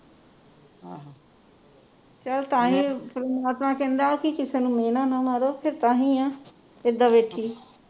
ਚਲ ਤਾਈਂ ਪਰਮਾਤਮਾ ਕਹਿੰਦਾ ਕੇ ਕਿਸੇ ਨੂੰ ਮੇਹਣਾ ਨਾ ਮਾਰੋ ਤੇ ਤਾਂਹੀ ਹੈ